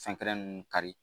Fɛn kɛnɛ ninnu kari